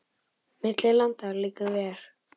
Milli landa liggur ver.